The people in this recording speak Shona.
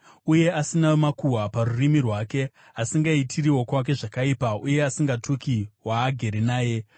uye asina makuhwa parurimi rwake, asingaitiri wokwake zvakaipa uye asingatuki waagere naye,